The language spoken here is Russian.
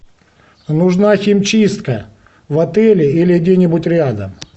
нужна химчистка в отеле или где нибудь рядом